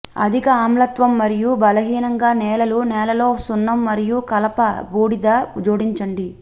అధిక ఆమ్లత్వం మరియు బలహీనంగా నేలలు నేలలో సున్నం మరియు కలప బూడిద జోడించండి